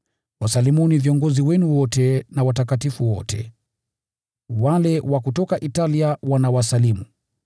Wasalimuni viongozi wenu wote na watakatifu wote. Wale wa kutoka Italia wanawasalimu.